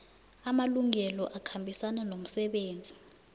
amalungelo akhambisana nomsebenzi